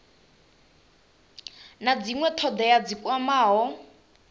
na dzinwe thodea dzi kwamaho